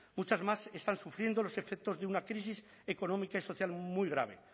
muchas más están sufriendo los efectos de una crisis económica y social muy grave